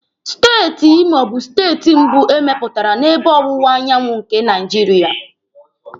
Steeti Imo bụ steeti mbụ emepụtara n'ebe ọwụwa anyanwụ nke Naijiria.